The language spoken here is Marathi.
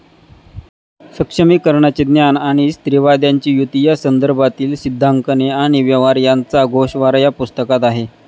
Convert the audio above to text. सक्षमीकरणाचे 'ज्ञान'आणि स्त्रीवाद्यांची युती या संदर्भातील सिद्धांकने आणि व्यवहार यांचा गोषवारा या पुस्तकात आहे.